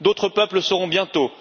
D'autres peuples le seront bientôt.